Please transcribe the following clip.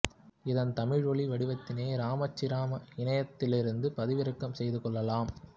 இதன் தமிழ் ஓலி வடிவத்தினை ரமணாச்சிரம இனையதளத்திலிருந்து பதிவிறக்கம் செய்து கொள்ளலாம்